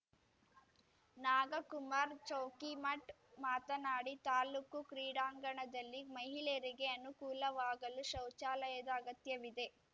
ನಾಗಕುಮಾರ್ ಚೌಕಿಮಠ್ ಮಾತನಾಡಿ ತಾಲ್ಲೂಕು ಕ್ರೀಡಾಂಗಣದಲ್ಲಿ ಮಹಿಳೆಯರಿಗೆ ಅನುಕೂಲವಾಗಲು ಶೌಚಾಲಯದ ಅಗತ್ಯವಿದೆ